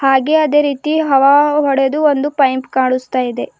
ಹಾಗೆ ಅದೇ ರೀತಿ ಹವಾ ಒಡೆದು ಒಂದು ಪೈಂಪ್ ಕಾಣಿಸ್ತ ಇದೆ.